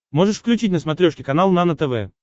можешь включить на смотрешке канал нано тв